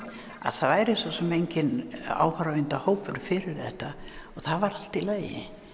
að það væri svo sem enginn fyrir þetta og það var allt í lagi